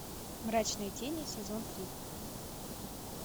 мрачные тени сезон три